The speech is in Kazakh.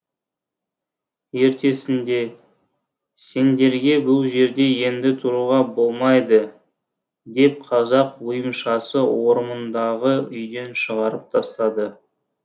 ертесінде сендерге бұл жерде енді тұруға болмай ды деп қазақ ойымшасы орамындағы үйден шығарып тастады